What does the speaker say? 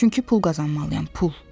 Çünki pul qazanmalıyam, pul.